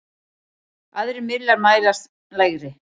Aðrir miðlar mælast lægri.